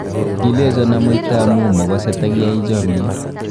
Kilechon amuita amuun mogosee tagiyaai chomiiet.